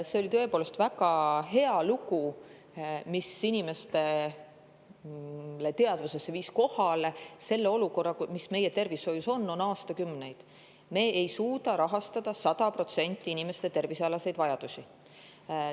See oli tõepoolest väga hea lugu, mis viis inimeste teadvusesse kohale olukorra, mis meie tervishoius on ja on olnud aastakümneid: me ei suuda rahastada 100% inimeste tervise vajadusi.